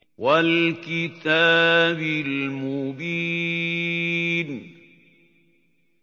وَالْكِتَابِ الْمُبِينِ